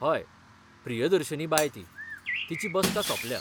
हय, प्रियदर्शिनी बाय ती, तिची बसका सोंपल्या.